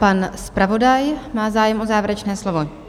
Pan zpravodaj má zájem o závěrečné slovo?